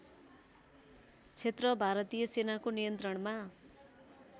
क्षेत्र भारतीय सेनाको नियन्त्रणमा